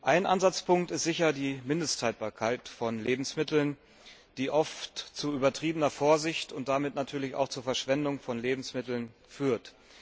Ein Ansatzpunkt ist sicher die Mindesthaltbarkeit von Lebensmitteln, die oft zu übertriebener Vorsicht und damit natürlich auch zur Verschwendung von Lebensmitteln führt.